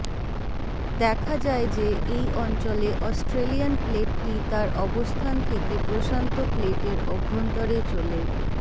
দেখা যায় যে এই অঞ্চলে অস্ট্রেলিয়ান প্লেটটি তার অবস্থান থেকে প্রশান্ত প্লেটের অভ্যন্তরে চলে